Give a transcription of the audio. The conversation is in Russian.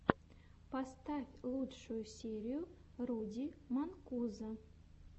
поставь лучшую серию руди манкузо